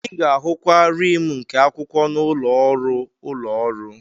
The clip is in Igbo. Ị ga-ahụkwa rim nke akwụkwọ n'ụlọ ọrụ ụlọ ọrụ.